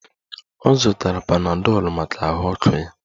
Ọ zụtara panadọlụ maka ahụ ọkụ ya